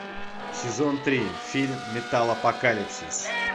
сезон три фильм металлопокалипсис